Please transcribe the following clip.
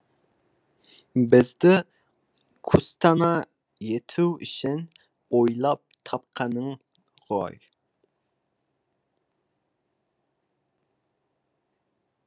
бізді күстана ету үшін ойлап тапқаның ғой